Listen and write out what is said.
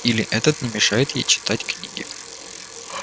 или этот не мешает ей читать книги